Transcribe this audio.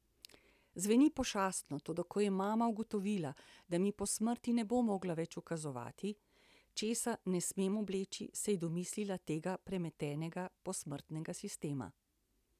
Zveni pošastno, toda ko je mama ugotovila, da mi po smrti ne bo mogla več ukazovati, česa ne smem obleči, se je domislila tega premetenega posmrtnega sistema.